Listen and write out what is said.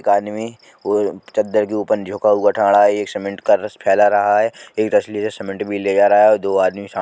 एक आदमी वो चद्दर के ऊपर है एक सिमेन्ट का रस फैला रहा है एक असली सिमेन्ट भी ले जा रहा है। दो आदमी सा --